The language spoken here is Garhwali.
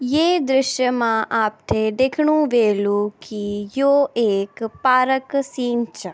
ये दृश्य मा आपथे दिख्णु ह्वेलु की यो एक पारक सीन च।